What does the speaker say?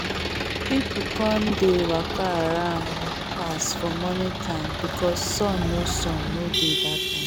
people come dey waka around pass for morning time because sun no sun no dey that time